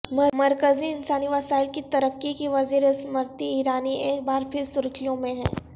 مرکزی انسانی وسائل کی ترقی کی وزیر اسمرتی ایرانی ایک بار پھر سرخیوں میں ہیں